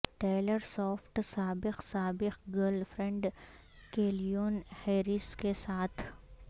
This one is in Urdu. ٹیلر سوفٹ سابق سابق گرل فرینڈ کیلیون ہیریس کے ساتھ